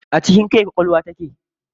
A cikin kai ƙwaƙwalwa take.